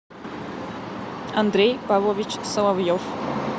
андрей павлович соловьев